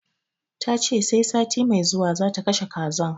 Tace sai sati mai zuwa zata kashe kazan